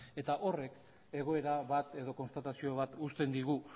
eta horrek egoera bat edo konstatazio bat uzten digu